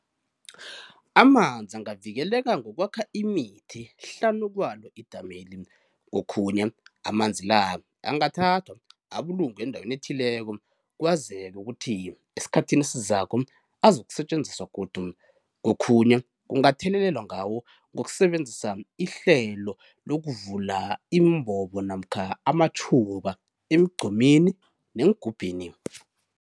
Amanzi angavikeleka ngokwakha imithi hlanu kwalo idameli, kokhunye amanzi la angathathwa abulungwe endaweni ethileko kwazeke ukuthi esikhathini esizako azakusetjenziswa godu, kokhunye kungathelelelwa ngawo ngokusebenzisa ihlelo lokuvula iimbobo namkha amatjhuba emigqomini neengubhini.